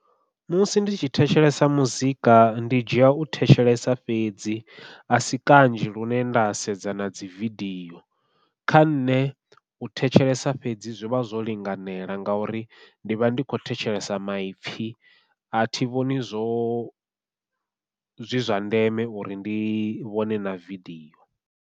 Musi ndi tshi thetshelesa muzika ndi dzhia u thetshelesa fhedzi, a si kanzhi lune nda sedza nadzi vidio kha nṋe u thetshelesa fhedzi zwi vha zwo linganela ngauri ndi vha ndi khou thetshelesa maipfhi athi vhoni zwo zwi zwa ndeme uri ndi vhone na vidio.